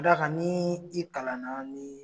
Ka d'a kan n'i kalan na ni